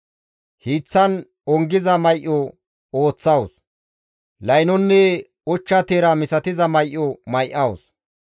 Hiiththan ongiza may7o ooththawus; laynonne ochcha teera misatiza may7o may7awus.